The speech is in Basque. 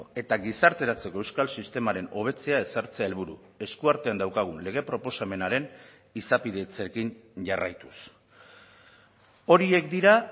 eta gizarteratzeko euskal sistemaren hobetzea ezartzea helburu eskuartean daukagun lege proposamenaren izapidetzeekin jarraituz horiek dira